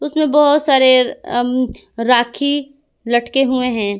इसमें बहोत सारे राखी लटके हुए हैं।